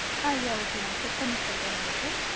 ஆஹ் yeah okay ma'am check பண்ணிட்டு சொல்றேன் உங்களுக்கு